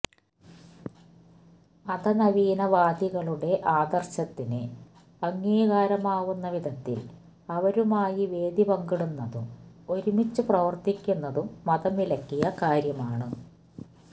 മതനവീന വാദികളുടെ ആദര്ശത്തിന് അംഗീകാരമാവുന്ന വിധത്തില് അവരുമായി വേദി പങ്കിടുന്നതും ഒരുമിച്ച് പ്രവര്ത്തിക്കുന്നതും മതം വിലക്കിയ കാര്യമാണ്